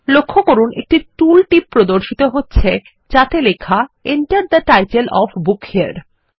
লক্ষ্য করুন একটি টুলটিপ প্রদর্শিত হচ্ছে যাতে লেখা Enter the title of book হেরে